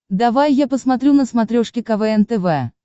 давай я посмотрю на смотрешке квн тв